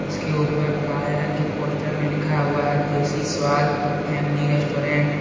इसके ऊपर काले रंग के पोस्टर में लिखा हुआ है देसी स्वाद फैमिली रेस्टोरेंट --